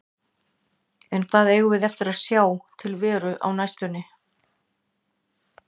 En hvar eigum við eftir að sjá til Veru á næstunni?